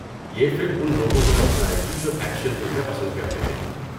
یہ فلم ان لوگوں کو پسند آئے گی جو ایکشن فلمیں پسند کرتے ہیں۔